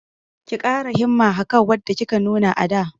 Ki ƙara himma akan wadda kika nuna a da!